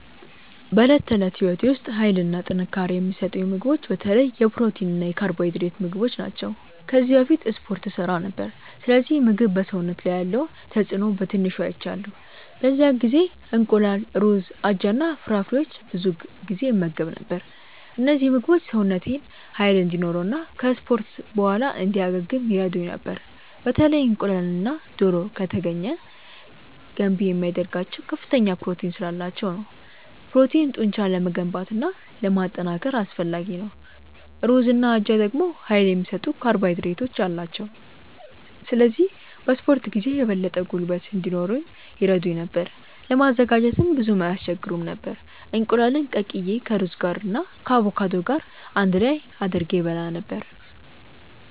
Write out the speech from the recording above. በዕለት ተዕለት ሕይወቴ ውስጥ ኃይልና ጥንካሬ የሚሰጡኝን ምግቦች በተለይ የፕሮቲን እና የካርቦሃይድሬት ምግቦች ናቸው። ከዚህ በፊት እስፖርት እሠራ ነበር፣ ስለዚህ ምግብ በሰውነት ላይ ያለውን ተጽእኖ በትንሹ አይቻለሁ። በዚያ ጊዜ እንቁላል፣ ሩዝ፣ አጃ እና ፍራፍሬዎችን ብዙ ጊዜ እመገብ ነበር። እነዚህ ምግቦች ሰውነቴን ኃይል እንዲኖረው እና ከ እስፖርት በኋላ እንዲያገግም ይረዱኝ ነበር። በተለይ እንቁላልና ዶሮ( ከተገኘ ) ገንቢ የሚያደርጋቸው ከፍተኛ ፕሮቲን ስላላቸው ነው። ፕሮቲን ጡንቻን ለመገንባት እና ለማጠናከር አስፈላጊ ነው። ሩዝና አጃ ደግሞ ኃይል የሚሰጡ ካርቦሃይድሬቶች አሏቸው፣ ስለዚህ በ እስፖርት ጊዜ የበለጠ ጉልበት እንዲኖረኝ ይረዱኝ ነበር። ለማዘጋጀትም ብዙም አይስቸግሩም ነበር፤ እንቁላሉን ቀቅዬ ከሩዝ ጋር እና ከአቮካዶ ገር አንድ ላይ አድርጌ እበላ ነበረ።